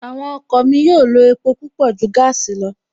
Àwọn ọkọ̀ mi yóò lo epo púpọ̀ ju gaasi lọ